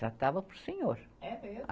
Tratava por senhor. É mesmo?